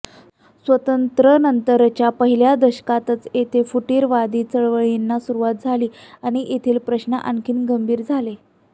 स्वातंत्र्यानंतरच्या पहिल्या दशकातच इथे फुटिरतावादी चळवळींना सुरूवात झाली आणि येथील प्रश्न आणखी गंभीर झाले